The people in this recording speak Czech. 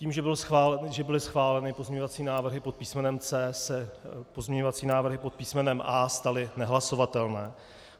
Tím, že byly schváleny pozměňovací návrhy pod písmenem C, se pozměňovací návrhy pod písmenem A staly nehlasovatelné.